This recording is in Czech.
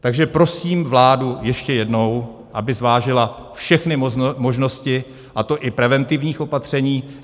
Takže prosím vládu ještě jednou, aby zvážila všechny možnosti, a to i preventivních opatření.